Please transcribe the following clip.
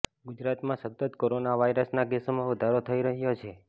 ગુજરાતમાં સતત કોરોના વાયરસના કેસોમાં વધારો થઈ રહ્યો છે